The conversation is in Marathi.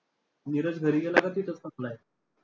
नीरज घरी गेला का तिथंच थांबलाय?